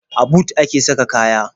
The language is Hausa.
A but a ke saka kaya.